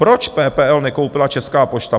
Proč PPL nekoupila Česká pošta?